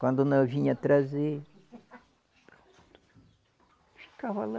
Quando não vinha trazer ficava lá.